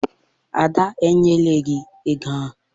Ada enyela gị ego ahụ?